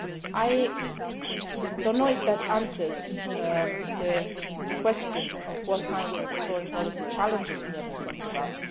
and equality. I do not know if that answers the question of what kind of foreign policy challenges we have